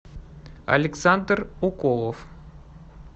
александр уколов